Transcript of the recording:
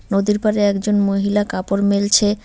নদীর পাড়ে একজন মহিলা কাপড় মেলছে।